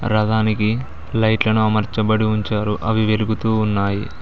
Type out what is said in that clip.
రదానికి కి లైట్లను అమరుచబడి ఉంచారు అవి వెలుగుతూ ఉన్నాయి.